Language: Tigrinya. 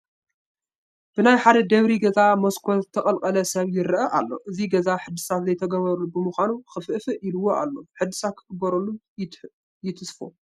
ብናይ ሓደ ደብሪ ገዛ መስኮት ዝተቐልቀለ ሰብ ይርአ ኣሎ፡፡ እዚ ገዛ ሕድሳት ዘይተገበረሉ ብምዃኑ ክፍእፍእ ኢልዎ ኣሎ፡፡ ሕድሳት ክግበረሉ ይትስፎ፡፡